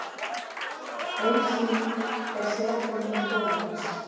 Ein slík er setmyndun kolefnis.